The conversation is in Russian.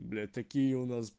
блять такие у нас